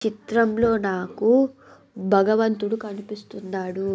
చిత్రంలో నాకు భగవంతుడు కనిపిస్తున్నాడు.